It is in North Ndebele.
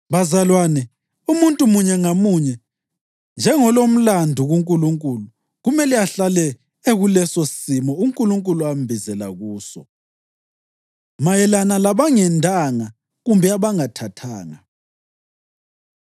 Bazalwane, umuntu munye ngamunye, njengolomlandu kuNkulunkulu, kumele ahlale ekulesosimo uNkulunkulu ambizela kuso. Mayelana Labangendanga Kumbe Abangathathanga